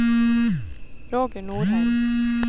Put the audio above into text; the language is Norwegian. Roger Norheim